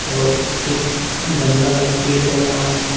और एक गमला लगा पेड़ लगा हुआ है।